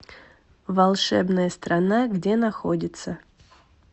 волшебная страна где находится